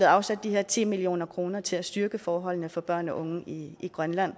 afsat de her ti million kroner til at styrke forholdene for børn og unge i grønland